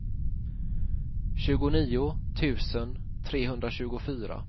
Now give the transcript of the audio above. tjugonio tusen trehundratjugofyra